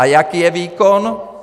A jaký je výkon?